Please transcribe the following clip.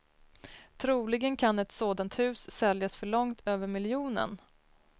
Troligen kan ett sådant hus säljas för långt över miljonen.